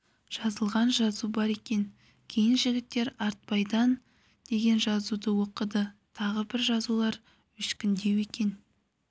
жазылған жазу бар екен кейін жігіттер айтбайдан деген жазуды оқыды тағы бір жазулар өшкіндеу екен